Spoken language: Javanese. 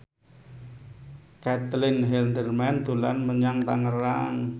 Caitlin Halderman dolan menyang Tangerang